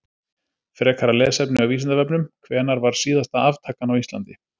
Frekara lesefni á Vísindavefnum: Hvenær var síðasta aftakan á Íslandi?